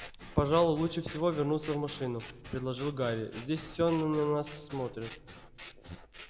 пожалуй лучше всего вернуться в машину предложил гарри здесь всё на нас смотрят